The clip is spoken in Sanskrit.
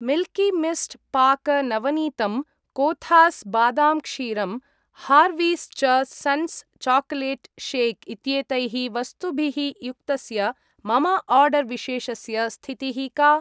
मिल्कि मिस्ट् पाक नवनीतम् , कोथास् बादाम् क्षीरम् , हार्वीस् च सन्स् चाकोलेट् शेक् इत्येतैः वस्तुभिः युक्तस्य मम आर्डर् विशेषस्य स्थितिः का?